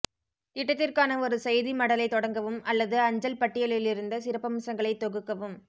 திட்டத்திற்கான ஒரு செய்திமடலைத் தொடங்கவும் அல்லது அஞ்சல் பட்டியலிலிருந்த சிறப்பம்சங்களைக் தொகுக்கவும்